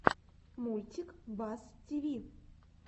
мультик бас тиви